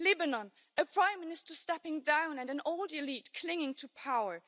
Lebanon a Prime Minister stepping down and an old elite clinging to power.